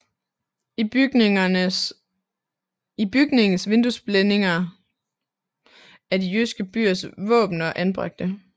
I bygningens vinduesblændinger er de jyske byers våbener anbragte